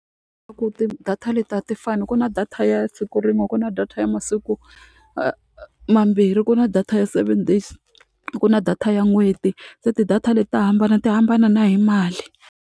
Swa ku ti-data leti a ti fani ku na data ya siku rin'we ku na data ya masiku mambirhi ku na data ya seven days ku na data ya n'hweti se ti-data leti ta hambana ti hambana na hi mali.